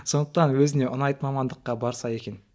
сондықтан өзіне ұнайтын мамандыққа барса екен